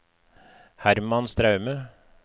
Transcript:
Herman Straume